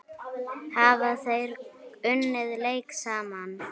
Hafa þeir unnið leik saman?